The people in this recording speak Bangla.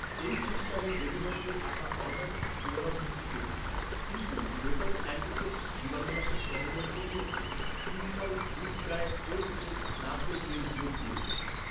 এই সপ্তাহে ডেলিভারিতে আসা অর্ডারটির পুনরাবৃত্তি করুন কিন্তু ডেটল অ্যান্টিসেপটিক জীবাণুনাশক তরলের পরিবর্তে তিন pouch good diet cold pressed নারকেল তেল যোগ করুন।